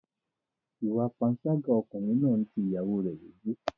Ìwà panṣágà ọkùnrin náà ń ti ìyàwóo rẹ̀ lójú.